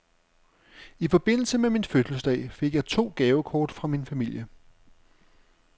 I forbindelse med min fødselsdag fik jeg to gavekort fra min familie.